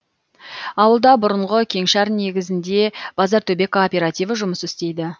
ауылда бұрынғы кеңшар негізінде базартөбе кооперативі жұмыс істейді